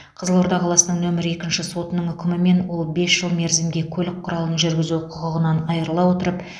қызылорда қаласының нөмірі екінші сотының үкімімен ол бес жыл мерзімге көлік құралын жүргізу құқығынан айырыла отырып